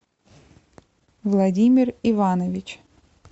владимир иванович